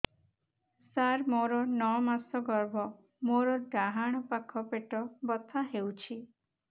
ସାର ମୋର ନଅ ମାସ ଗର୍ଭ ମୋର ଡାହାଣ ପାଖ ପେଟ ବଥା ହେଉଛି